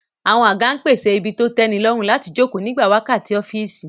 Àwọn àga ń pèsè ibi tó tẹ́nilọ́rùn láti jókòó nígbà wákàtí ọ́fíìsì